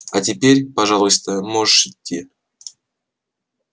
а теперь пожалуйста можешь идти